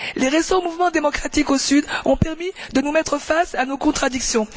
Les récents mouvements démocratiques au sud ont permis de nous mettre face à nos contradictions.